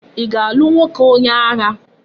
I ga-alu nwoke onye agha?